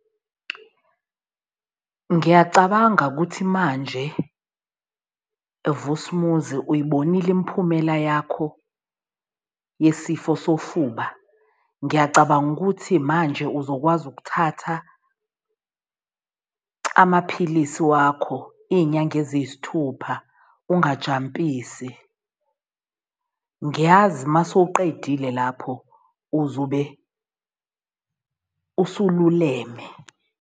Ngiyacabanga ukuthi manje Vusumuzi, uyibonile imiphumela yakho yesifo sofuba. Ngiyacabanga ukuthi manje uzokwazi ukuthatha amaphilisi wakho iy'nyanga eziyisithupha ungajampisa. Ngiyazi mase uqedile lapho uzobe usululeme.